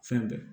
Fɛn bɛɛ